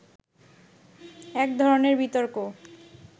এক ধরনের বিতর্ক